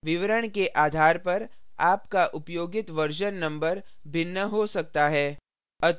विवरण के आधार पर आपका उपयोगित version number भिन्न हो सकता है